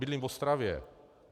Bydlím v Ostravě.